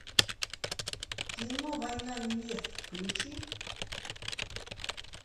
кино война невест включи